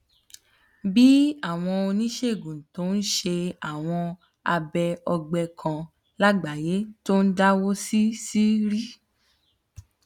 bí àwọn oníṣègùn tó ń ṣe àwọn abẹ ọgbẹ kan lágbàáyé tó ń dáwó sí ṣíṣírí